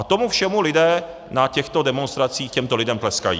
A tomu všemu lidé na těchto demonstracích těmto lidem tleskají.